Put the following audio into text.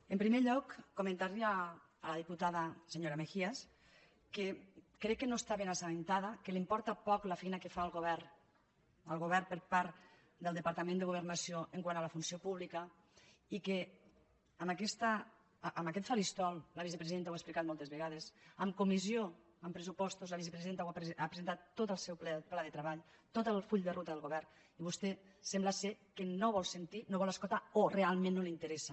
en primer lloc comentar li a la diputada senyora mejías que crec que no està ben assabentada que li importa poc la feina que fa el govern el govern per part del departament de governació quant a la funció pública i que en aquest faristol la vicepresidenta ho ha explicat moltes vegades en comissió en pressupostos la vicepresidenta ha presentat tot el seu pla de treball tot el full de ruta del govern i vostè sembla que no vol sentir no vol escoltar o realment no li interessa